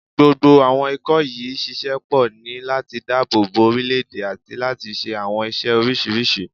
Gbogbo àwọn ikọ̀ yìí ń ṣiṣẹ́ pọ̀ ní láti dáàbò bo orílé-èdè àti láti ṣe àwọn iṣẹ́ oríṣiríṣi